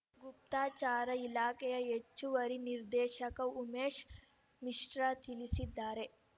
ಗುಪ್ತಚರ ಇಲಾಖೆಯ ಹೆಚ್ಚುವರಿ ನಿರ್ದೇಶಕ ಉಮೇಶ್ ಮಿಶ್ರಾ ತಿಳಿಸಿದ್ದಾರೆ